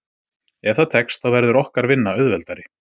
Ef það tekst þá verður okkar vinna auðveldari.